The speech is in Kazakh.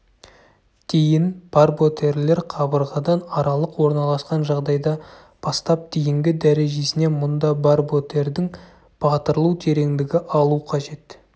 дейін барботерлер қабырғадан аралық орналасқан жағдайда бастап дейінгі дәрежесіне мұнда барботердің батырылу тереңдігі алу қажет